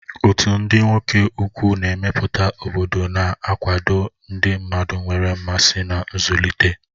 Otu ndị nwoke ukwu na-emepụta obodo na-akwado ndị mmadụ nwere mmasị na nzụlite.